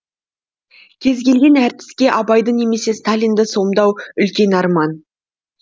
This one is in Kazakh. кез келген әртіске абайды немесе сталинді сомдау үлкен арман